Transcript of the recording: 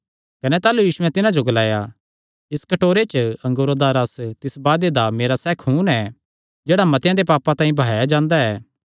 कने ताह़लू यीशुयैं तिन्हां जो ग्लाया इस कटोरे च अंगूरा दा रस तिस वादे दा मेरा सैह़ खून ऐ जेह्ड़ा मतेआं देयां पापां तांई बहाया जांदा ऐ